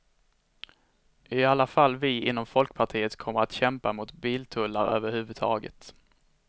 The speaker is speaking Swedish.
I alla fall vi inom folkpartiet kommer att kämpa mot biltullar över huvud taget.